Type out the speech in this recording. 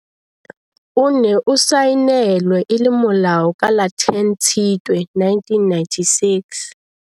O ne o saenelwe e le molao ka la 10 Tshitwe 1996.